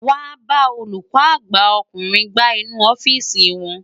Wàá bá olùkọ́ àgbà ọkùnrin gbá inú ọ́fíìsì wọn.